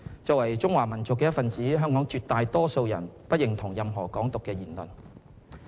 作為中華民族的一分子，香港絕大多數人不認同任何"港獨"的言行。